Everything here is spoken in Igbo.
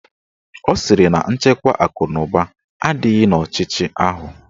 Ọ sịrị na nchekwa akụnụba adịghị n'ọchịchị ahụ